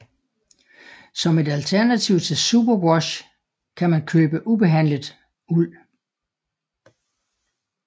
Som et alternativ til superwash kan man købe ubehandlet uld